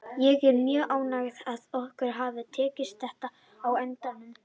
Ég er mjög ánægður að okkur hafi tekist þetta á endanum.